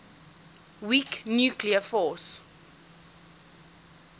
weak nuclear force